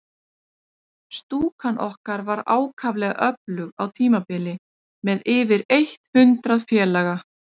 Stúkan okkar var ákaflega öflug á tímabili, með yfir eitt hundrað félaga.